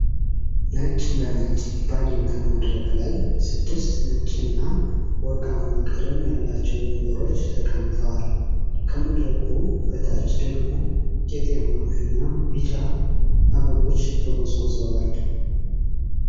ነጭ በነጭ ባጌጠ መድረክ ላይ ስድስት ነጭ እና ወርቃማ ቀለም ያላቸው ወንበሮች ተቀምጠዋል። ከመድረኩ በታች ደግሞ ቄጤማ እና ቢጫ አበቦች ተጎዝጉዘዋል።